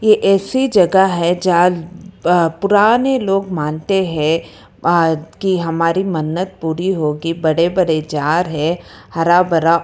ये ऐसी जगह है जहां पुराने लोग मानते हैं कि हमारी मन्नत पूरी होगी बड़े बड़े जार है हरा भरा।